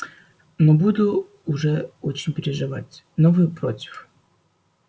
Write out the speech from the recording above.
но буду уже очень переживать но вы против